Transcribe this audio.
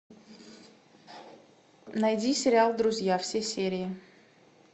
найди сериал друзья все серии